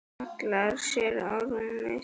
Hallar sér á rúmið.